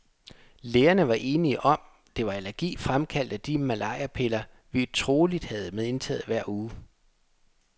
Lægerne var enige om, det var allergi fremkaldt af de malariapiller, vi troligt havde indtaget hver uge.